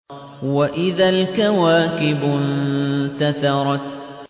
وَإِذَا الْكَوَاكِبُ انتَثَرَتْ